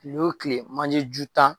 kile wo kile manjeju tan.